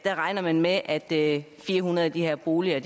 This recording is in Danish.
man regner med at fire hundrede af de her boliger